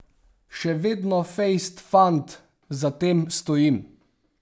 Še vedno fejst fant, za tem stojim.